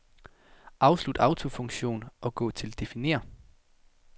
Afslut autofunktion og gå til definér.